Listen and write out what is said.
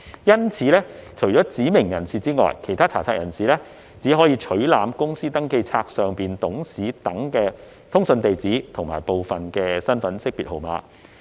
因此，除指明人士外，其他查冊人士只可取覽公司登記冊上董事等的通訊地址和部分身份識別號碼。